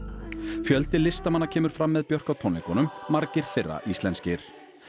fjöldi listamanna kemur fram með Björk á tónleikunum margir þeirra íslenskir